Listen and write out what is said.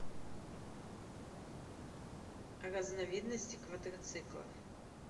разновидности квадроциклов